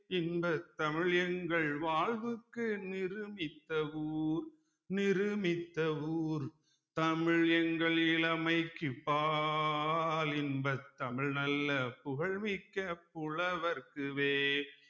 இன்பத் தமிழ் எங்கள் வாழ்வுக்கு நிருமித்த ஊர் நிருமித்த ஊர் தமிழ் எங்கள் இளமைக்குப் பால் இன்பத் தமிழ் நல்ல புகழ்மிக்க புலவர்க்கு வேல்